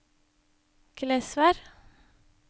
Glesvær